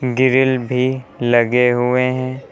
Grill भी लगे हुए हैं।